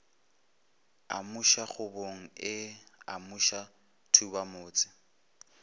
amuša kgobogo o amuša thubamotse